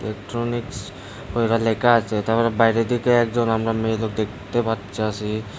Electronics কইরা লেখা আছে তারপর বাইরের দিকে একজন আমরা মেয়ে লোক দেখতে পারতাসি।